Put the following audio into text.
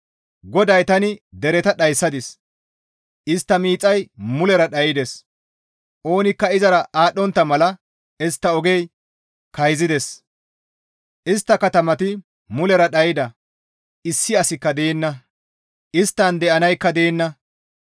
GODAY, «Tani dereta dhayssadis; istta miixay mulera dhaydes; oonikka izara aadhdhontta mala istta oge kayzisadis; istta katamati mulera dhayda; issi asikka deenna; isttan de7anaykka deenna.